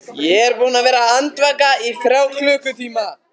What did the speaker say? Ég er búinn að vera andvaka í þrjá klukkutíma.